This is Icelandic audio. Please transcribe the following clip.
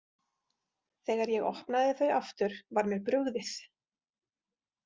Þegar ég opnaði þau aftur var mér brugðið.